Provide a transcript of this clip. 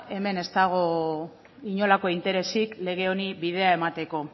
hemen ez dago inolako interesik lege honi bidea emateko